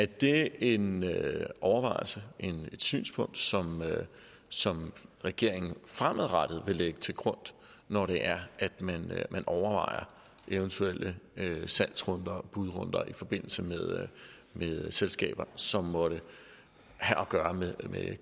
det en overvejelse et synspunkt som som regeringen fremadrettet vil lægge til grund når det er at man overvejer eventuelle salgsrunder og budrunder i forbindelse med selskaber som måtte have at gøre med